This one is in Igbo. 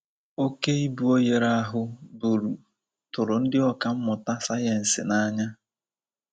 Oké ibu oghere ahụ buru tụrụ ndị ọkà mmụta sayensị n'anya.